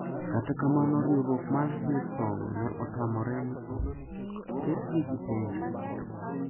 Kata kamano riwruok mar Hillsong` ne otamore ni ok ketgi gi penjo.